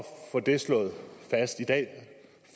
få det slået fast i dag